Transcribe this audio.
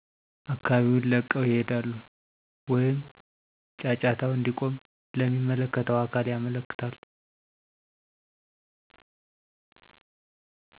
አካባቢውን ለቀው ይሄዳሉ ወይም ጫጫታው እንዲቆም ለሚመለከተው አካል ያመለክታሉ